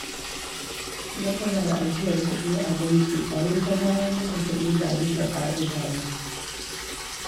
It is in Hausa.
Matsalar ajiyar kuɗi a banki, a yi ta zarar maka kuɗi ba bisa ƙa'ida ba